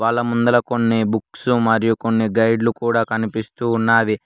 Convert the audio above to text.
అలా ముందర కొన్ని బుక్స్ మరియు కొన్ని గైడ్లు కూడా కనిపిస్తూ ఉన్నది.